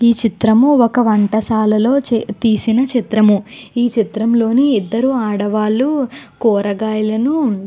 ఈ చిత్రము ఒక వంటశాలలో తీసిన చిత్రము. ఈ చిత్రంలోని ఇద్దరు ఆడవాళ్లు కూరగాయలను --